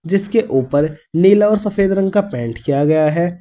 जिसके ऊपर नीला और सफेद रंग का पेंट किया गया है।